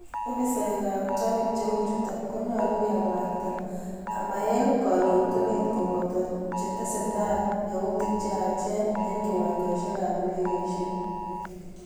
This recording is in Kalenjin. Ofisaekab traffic cheu chotok konyalu kemwaita ama eng kalotunet koboto chetesetai yautiik cheyachen eng kiwanjosyekab indegeisyek.